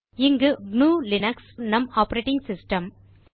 இங்கு gnuலினக்ஸ் நம் ஆப்பரேட்டிங் சிஸ்டம்